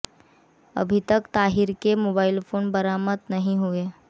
अभी तक ताहिर के मोबाइल फोन बरामद नहीं हुए हैं